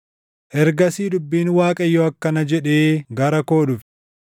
Ergasii dubbiin Waaqayyoo akkana jedhee gara koo dhufe: